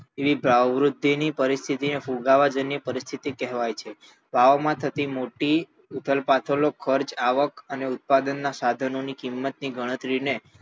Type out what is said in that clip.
એવી ભાવવૃદ્ધિની પરિસ્થિતિ ને ફુગાવાજન્ય પરિસ્થિતિ કેવાય છે ભાવો થતી મોટી ઉથલપાથલો ખર્ચ આવક અને ઉત્પાદનના સાધનોની કિંમત ની ગણતરી ને